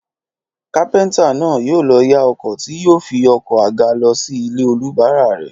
Kápẹ́ntà náà yóò lọ yá ọkọ̀ tí yóò fi oko àga lọ sí ilé olùbárà rẹ̀